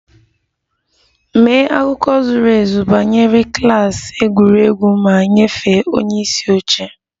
Mee akụkọ zuru ezu banyere klas egwuregwu ma nyefee onye isi oche!